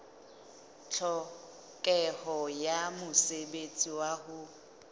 tlhokeho ya mosebetsi wa ho